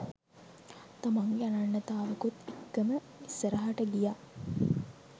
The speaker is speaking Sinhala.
තමන්ගේ අනන්‍යතාවකුත් එක්කම ඉස්සරහට ගියා